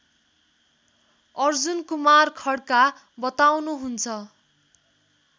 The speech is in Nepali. अर्जुनकुमार खड्का बताउनुहुन्छ